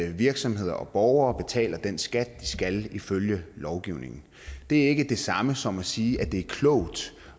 at virksomheder og borgere betaler den skat de skal ifølge lovgivningen det er ikke det samme som at sige at det er klogt